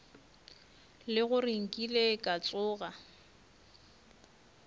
le gore nkile ka tsoga